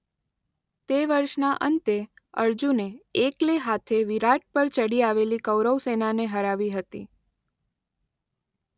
તે વર્ષના અંતે અર્જુને એકલે હાથે વિરાટ પર ચડી આવેલી કૌરવ સેનાને હરાવી હતી.